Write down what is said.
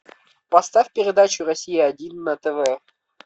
поставь передачу россия один на тв